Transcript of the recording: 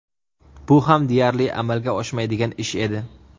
Bu ham deyarli amalga oshmaydigan ish edi.